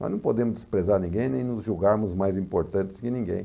Nós não podemos desprezar ninguém nem nos julgarmos mais importantes que ninguém.